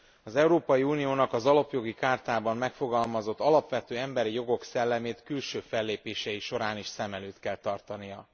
Az Európai Uniónak az Alapjogi Chartában megfogalmazott alapvető emberi jogok szellemét külső fellépései során is szem előtt kell tartania.